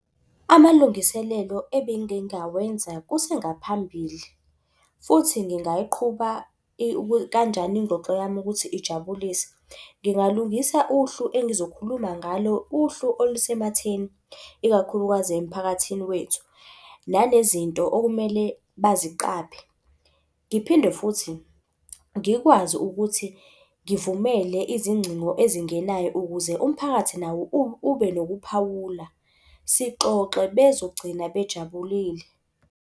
Amalungiselelo ebengingawenza kusengaphambili, futhi ngingayiqhuba kanjani ingxoxo yami ukuthi ijabulise? Ngingalungisa uhlu engizokhuluma ngalo, uhlu olusematheni, ikakhulukazi emphakathini wethu, nalezi nto okumele baziqaphe. Ngiphinde futhi ngikwazi ukuthi ngivumele izingcingo ezingenayo ukuze umphakathi nawo ube nokuphawula. Sixoxe bezogcina bejabulile.